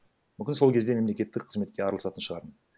мүмкін сол кезде мемлекеттік қызметке араласатын шығармын